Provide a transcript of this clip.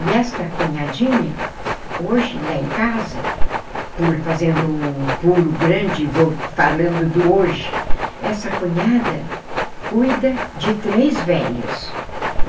E esta cunhadinha, hoje, lá em casa, fazendo um pulo grande, vol falando do hoje, essa cunhada cuida de três velhos.